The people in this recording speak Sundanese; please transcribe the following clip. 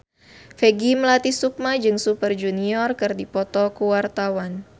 Peggy Melati Sukma jeung Super Junior keur dipoto ku wartawan